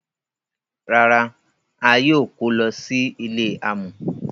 Rárá, a yóò kọ̀ lọ sí ilẹ̀ àmọ.